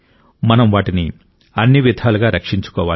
మనం వాటిని అన్ని విధాలుగా రక్షించుకోవాలి